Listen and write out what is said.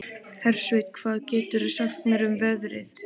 Hersveinn, hvað geturðu sagt mér um veðrið?